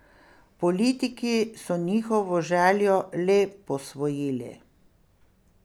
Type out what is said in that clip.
Politiki so njihovo željo le posvojili.